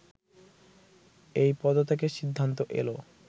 এই পদত্যাগের সিদ্ধান্ত এল